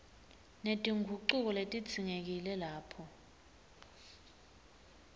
netingucuko letidzingekile lapho